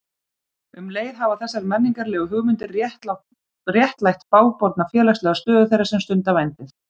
Um leið hafa þessar menningarlegu hugmyndir réttlætt bágborna félagslega stöðu þeirra sem stunda vændið.